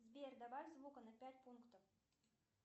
сбер добавь звука на пять пунктов